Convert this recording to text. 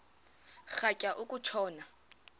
rhatya uku tshona